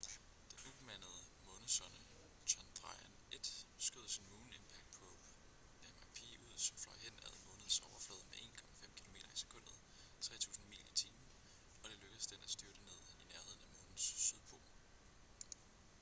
den ubemandede månesonde chandrayaan-1 skød sin moon impact probe mip ud som fløj hen ad månens overflade med 1,5 kilometer i sekundet 3000 mil i timen og det lykkedes den at styrte ned i nærheden af månens sydpol